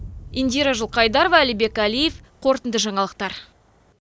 индира жылқайдарова әлібек әлиев қорытынды жаңалықтар